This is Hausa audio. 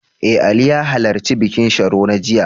Eh, Ali ya halarci bikin Sharo na jiya.